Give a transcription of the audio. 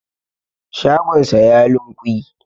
shagonsa ya lunkui